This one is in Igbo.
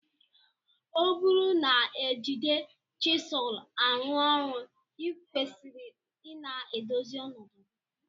Ọburu na ejide chisul arụ ọrụ ikwesiri ina edozi ọnọdu gi.